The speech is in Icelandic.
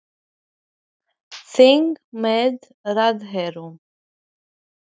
Heimir, hvernig brást ríkisstjórnin við ákvörðun forsetans?